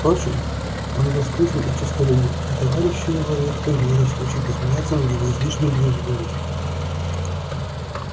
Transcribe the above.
впрочем он был скрытен и честолюбив и товарищи его редко имели случай посмеяться над его излишней бережливостью